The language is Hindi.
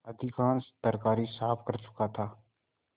अधिकांश तरकारी साफ कर चुका था